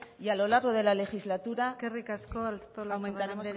y a lo largo de la legislatura aumentaremos el eskerrik asko artolazabal anderea